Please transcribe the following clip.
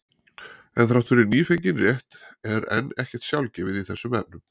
En þrátt fyrir nýfengin rétt er enn ekkert sjálfgefið í þessum efnum.